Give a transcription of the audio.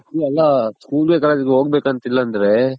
school ಗೆ college ಗೆ ಹೋಗ್ ಬೇಕಂತಿಲ್ಲ ಅಂದ್ರೆ